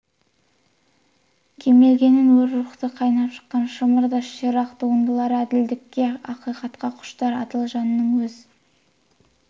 келмегенін өр рухтан қайнап шыққан шымыр да ширақ туындылар әділдікке ақиқатқа құштар адал жанның өз